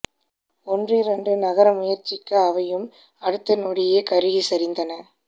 ஒன்றிரண்டு நகர முயற்சிக்க அவையும் அடுத்த நொடியே கருகி சரிந்தன